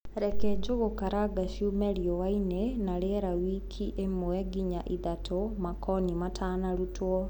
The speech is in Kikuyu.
Reke njũgũkaranga ciũme riũainĩ na rĩera wiki ĩmwe nginya ithatũ, makoni matanarutwo.